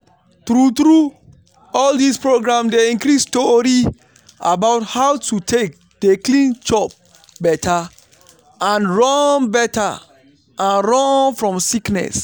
true true all dis programs dey increase tori about how to take dey clean chop better and run better and run fom sickness.